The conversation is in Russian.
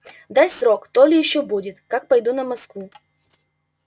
дай срок то ли ещё будет как пойду на москву